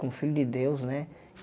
Como filho de Deus, né?